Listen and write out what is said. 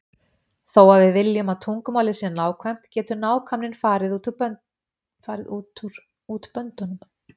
Þó að við viljum að tungumálið sé nákvæmt getur nákvæmnin farið út böndunum.